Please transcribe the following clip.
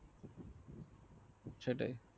সেটাই